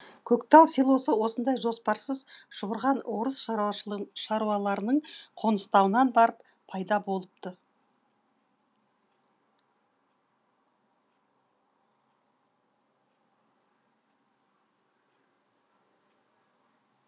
көктал селосы осындай жоспарсыз шұбырған орыс шаруаларының қоныстануынан барып пайда болыпты